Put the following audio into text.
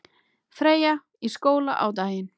Freyja í skóla á daginn.